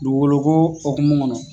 Dugu goloko okumu kɔnɔ